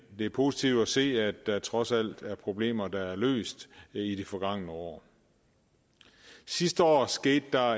er positivt at se at der trods alt er problemer der er løst i det forgangne år sidste år skete der